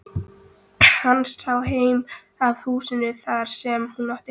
Hann sá heim að húsinu þar sem hún átti heima.